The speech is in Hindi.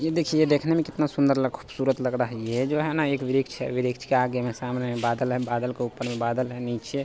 ये देखिये ये देखने में कितना सुंदर खूबसूरत लग रहा है ये जो है ना एक वृक्ष है वृक्ष के आगे में सामने में बादल है बादल के ऊपर में बादल है नीचे --